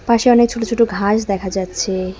পাশে অনেক ছোট ছোট ঘাস দেখা যাচ্ছে।